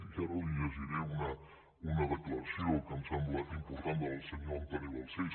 i ara li llegiré una declaració que em sembla important del senyor albert balcells